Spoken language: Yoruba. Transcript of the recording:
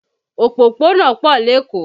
Òpópónà pọ̀ lékòó